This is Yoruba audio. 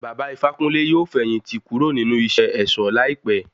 Baba Ifákúnle yóò fẹ̀yìn tì kúrò nínú iṣé ẹ̀ṣọ̀ láìpé.